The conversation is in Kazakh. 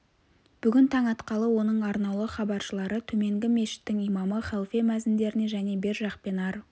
бүгін таң атқалы оның арнаулы хабаршылары төменгі мешіттің имамы халфе мәзіндеріне және бер жақ пен ар